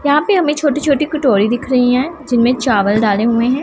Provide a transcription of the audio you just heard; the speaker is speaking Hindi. यहां पे हमे छोटी छोटी कटोरी दिख रही हैं जिनमें चावल डाले हुए हैं।